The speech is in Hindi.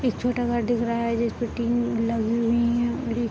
एक छोटा घर रहा है जिसमें टीम लगी हुई है। और ये --